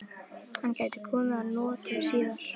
Hann gæti komið að notum síðar.